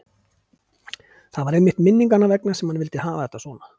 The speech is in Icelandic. Það var einmitt minninganna vegna sem hann vildi hafa þetta svona.